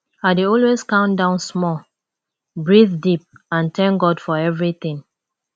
i dey always calm down small breathe deep and thank god for everything